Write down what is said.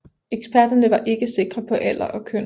Eksperterne var ikke sikre på alder og køn